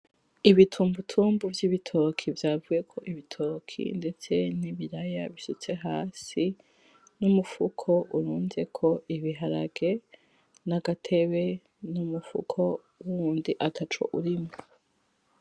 Ibitumbutumbu vy'ibitoke vyavuyeko ibitoke ndetse nibiraya bisutse hasi n'umufuko urunzeko ibiharage nagatebe n'umufuko wundi ataco urimwo.